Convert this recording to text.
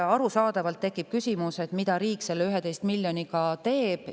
Arusaadavalt tekib küsimus, mida riik selle 11 miljoniga teeb.